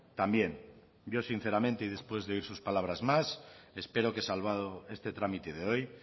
también yo sinceramente y después de oír sus palabras más espero que salvado este trámite de hoy